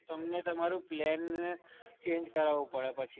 તમને તમારું plan change કરાવવું પડે પછી.